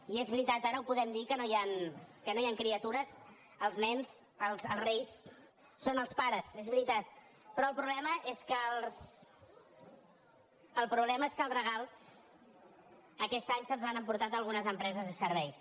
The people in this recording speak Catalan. i és veritat ara ho podem dir que no hi ha criatures als nens els reis són el pares és veritat però el problema és que els regals aquest any se’ls han emportat algunes empreses de serveis